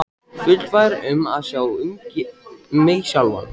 Fullfær um að sjá um mig sjálf.